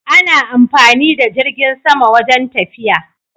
Ana amfani da jirgin sama wajen tafiya